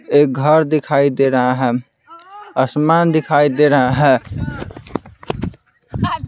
एक घर दिखाई दे रहा है आसमान दिखाई दे रहा है।